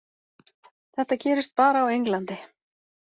Þetta gerist bara á Englandi.